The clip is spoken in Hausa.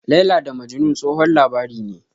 "Laila da Majnun", tsohon labari ne.